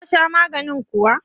Ka sha maganin kuwa?